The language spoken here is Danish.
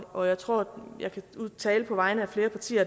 og jeg tror jeg taler på vegne af flere partier